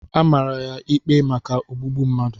A maara ya ikpe maka ogbugbu mmadụ.